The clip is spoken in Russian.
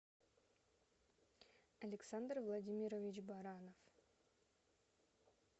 александр владимирович баранов